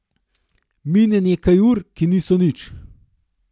Mine nekaj ur, ki niso nič.